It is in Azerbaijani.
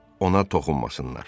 Ona toxunmasınlar.